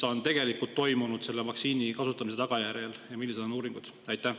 Mis on tegelikult toimunud vaktsiini kasutamise tagajärjel ja millised on uuringud?